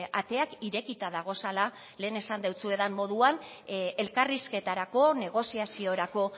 ateak irekita dagozala lehen esan deutsuedan moduan elkarrizketarako negoziaziorako